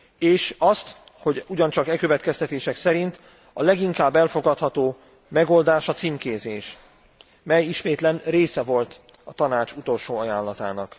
És azt, hogy ugyancsak e következtetések szerint a leginkább elfogadható megoldás a címkézés mely ismétlem része volt a Tanács utolsó ajánlatának.